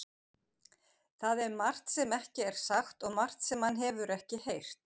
Það er margt sem ekki er sagt og margt sem hann hefur ekki heyrt.